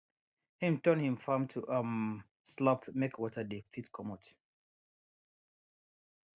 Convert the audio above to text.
him turn him farm to um slope make water dey fit comot